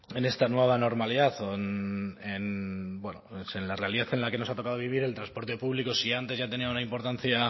en esta nueva normalidad o en la realidad en la que nos ha tocado vivir el transporte público si antes ya tenía una importancia